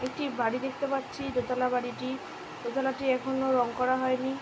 একটি বাড়ি দেখতে পারছি দোতলা বাড়িটি দোতলাটি এখনো রঙ করা হয় নি।